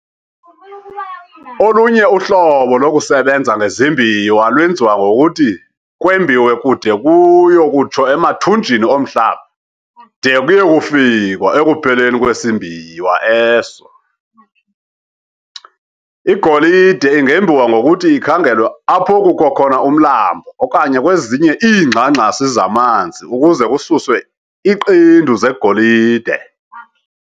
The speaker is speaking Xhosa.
Olunye uhlobo lokusebenza ngezimbiwa lwenziwa ngokuthi kwembiwe kude kuyo kutsho emathumnjini omhlaba de kuye kufikwa "ekupheleni kwesimbiwa eso". Igolide ingembiwa ngokuthi ikhangelwe apho kukho khona umlambo okanye kwezinye iingxangxasi zamanzi ukuze kususwe iqendu zegolide.